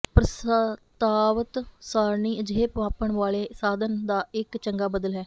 ਪ੍ਰਸਤਾਵਤ ਸਾਰਣੀ ਅਜਿਹੇ ਮਾਪਣ ਵਾਲੇ ਸਾਧਨ ਦਾ ਇੱਕ ਚੰਗਾ ਬਦਲ ਹੈ